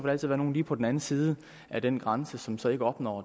altid være nogle lige på den anden side af den grænse som så ikke opnår